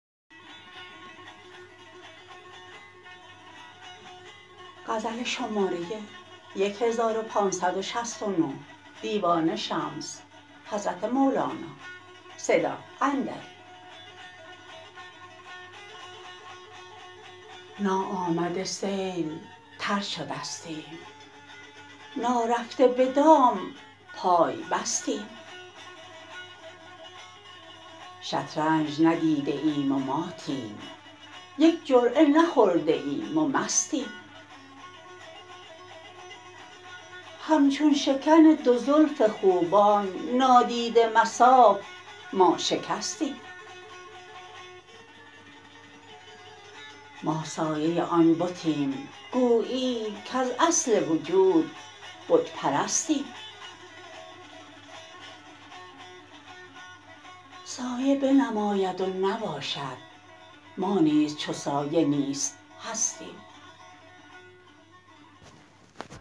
ناآمده سیل تر شدستیم نارفته به دام پای بستیم شطرنج ندیده ایم و ماتیم یک جرعه نخورده ایم و مستیم همچون شکن دو زلف خوبان نادیده مصاف ما شکستیم ما سایه آن بتیم گویی کز اصل وجود بت پرستیم سایه بنماید و نباشد ما نیز چو سایه نیست هستیم